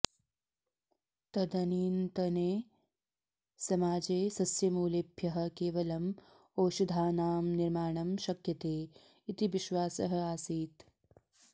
तदनीन्तने समाजे सस्यमूलेभ्यः केवलम् औषधानां निर्माणं शक्यते इति विश्वासः आसीत्